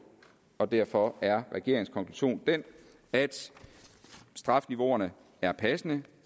og derfor er regeringens konklusion den at strafniveauerne er passende